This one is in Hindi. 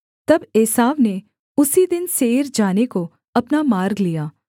तब एसाव ने उसी दिन सेईर जाने को अपना मार्ग लिया